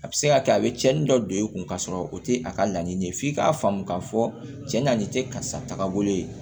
A bɛ se ka kɛ a bɛ cɛnni dɔ don e kun k'a sɔrɔ o tɛ a ka laɲini ye f'i ka faamu k'a fɔ cɛn na nin tɛ karisa tagabolo ye